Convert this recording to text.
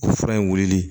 O fura in wulili